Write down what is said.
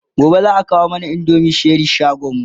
gobe zaa kawo mana indomin Cherie shagonmu